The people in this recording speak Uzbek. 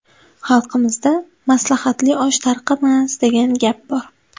Xalqimizda maslahatli osh tarqamas, degan gap bor.